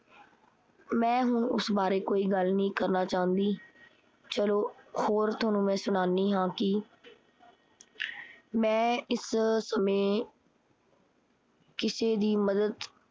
ਮੈਂ ਹੁਣ ਉਸ ਬਾਰੇ ਕੋਈ ਵੀ ਗੱਲ ਨੀ ਕਰਨਾ ਚਾਹੁੰਦੀ। ਚਲੋ ਹੋਰ ਥੋਨੂੰ ਮੈਂ ਸੁਨਾਨੀ ਹਾਂ ਕੀ ਮੈਂ ਇਸ ਸਮੇਂ ਕਿਸੇ ਦੀ ਮੱਦਦ